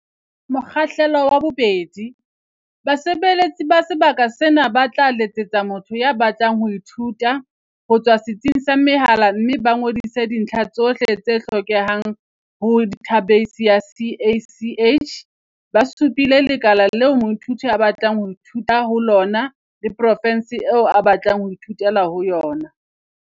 Mokgahlelo wa 2. Basebeletsi ba sebaka sena ba tla letsetsa motho ya batlang ho ithuta, ho tswa setsing sa mehala mme ba ngodise dintlha tsohle tse hlokehang ho dathabeisi ya CACH, ba supile lekala leo moithuti a batlang ho ithuta ho lona le profense eo a batlang ho ithutela ho yona.